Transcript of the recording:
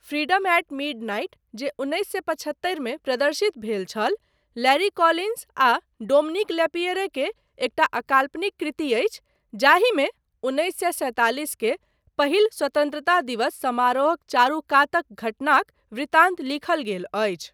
Freedom at midnight जे उन्नैस सए पछत्तरि मे प्रदर्शित भेल छल, लैरी कोलिन्स आ डोमिनिक लैपिएरे के एकटा अकाल्पनिक कृति अछि जाहिमे उन्नैस सए सैंतालिस के पहिल स्वतन्त्रता दिवस समारोहक चारूकातक घटनाक वृतान्त लिखल गेल अछि।